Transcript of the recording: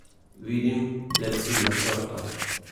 Vidim le ciljno črto.